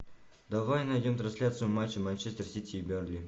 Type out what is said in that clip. давай найдем трансляцию матча манчестер сити и бернли